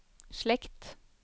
slekt